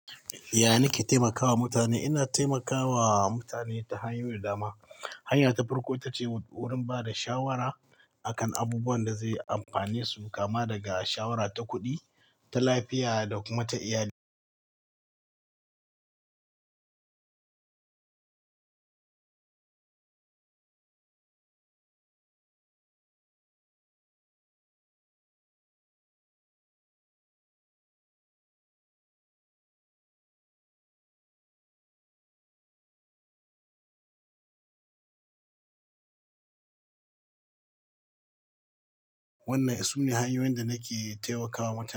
Ya, ni ke taimakawa mutane. Ina taimakawa mutane ta hanyoyi da dama. Hanya ta farko ita ce wurin bada shawara a kan abubuwan da zai amfane su, kama daga shawara ta kuɗi, ta lafiya da kuma ta iyali. Wannan sune hanyoyin da nake taimakawa mutane.